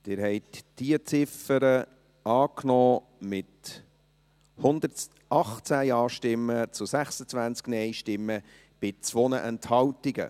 Sie haben diese Ziffer angenommen, mit 118 Ja- zu 26 Nein-Stimmen bei 2 Enthaltungen.